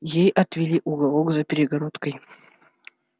ей отвели уголок за перегородкой